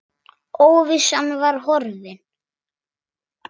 Óvissan var horfin.